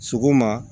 Sɔgɔma